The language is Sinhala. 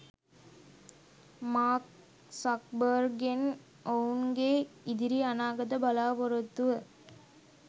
මාර්ක් සක්බර්ග්ගෙන් ඔවුන්ගේ ඉදිරි අනාගත බලාපොරොත්තුව